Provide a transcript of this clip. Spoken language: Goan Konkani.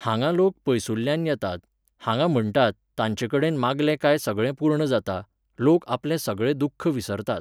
हांगा लोक पयसुल्ल्यान येतात, हांगा म्हणटात, ताचेंकडेन मागलें काय सगळें पूर्ण जाता, लोक आपलें सगळें दुख्ख विसरतात.